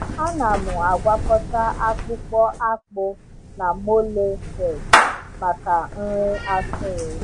Ana m agwakọta akpụkpọ akpụ na molasses maka nri atụrụ.